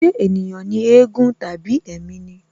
Ṣé ènìyàn ni éégún tàbí ẹ̀mí ni?